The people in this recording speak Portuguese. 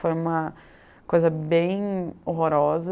Foi uma coisa bem horrorosa.